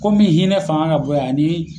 Ko min hinɛ fanga ka bon yan a ni.